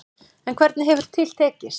En hvernig hefur til tekist.